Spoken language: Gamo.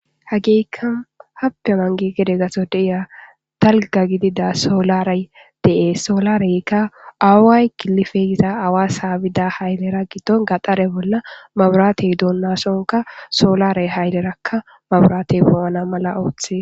hagiikka happe mangi gede gaso deiya talga gidida soolaray dee soolareykka aawaay gilifeyiza awa saabida haylera giton gaxare bolla maburaatey duunnasonka soolarey haylerakka maburaatey poo7ana mala oothe